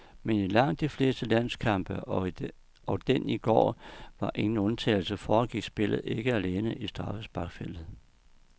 Men i langt de fleste landskampe, og den i går var ingen undtagelse, foregår spillet ikke alene i straffesparksfeltet.